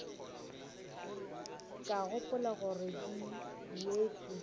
ka gopola gore di ruetšwe